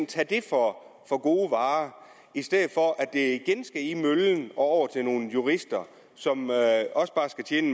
tage det for gode varer i stedet for at det igen skal i møllen og over til nogle jurister som også bare skal tjene